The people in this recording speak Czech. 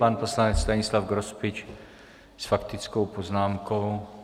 Pan poslanec Stanislav Grospič s faktickou poznámkou.